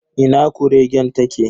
Ina kuregen ta ke?